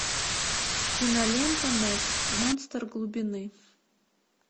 кинолента мег монстр глубины